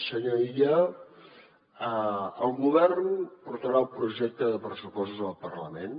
senyor illa el govern portarà el projecte de pressupostos al parlament